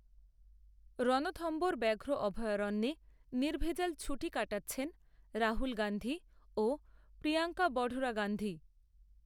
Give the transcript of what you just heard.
রণথম্ভোর ব্যাঘ্র অভয়ারণ্যে নির্ভেজাল ছুটি কাটাচ্ছেন রাহুল গান্ধী ও প্রিয়ঙ্কা বঢরা গান্ধী